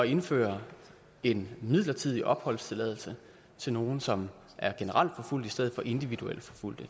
indføre en midlertidig opholdstilladelse til nogle som er generelt forfulgte i stedet for individuelt forfulgte